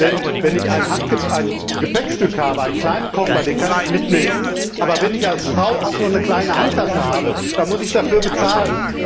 Denn, wenn ich ein Gepäckstück habe, einen kleinen Koffer, den kann ich mitnehmen, aber wenn ich als Frau auch nur eine kleine Handtasche habe, dann muss ich dafür bezahlen.